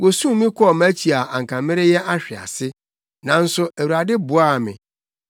Wosum me kɔɔ mʼakyi a anka mereyɛ ahwe ase, nanso Awurade boaa me.